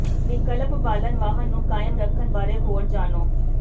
ਵਿਕਲਪਕ ਬਾਲਣ ਵਾਹਨ ਨੂੰ ਕਾਇਮ ਰੱਖਣ ਬਾਰੇ ਹੋਰ ਜਾਣੋ